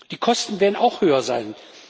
Die Kosten werden auch höher sein.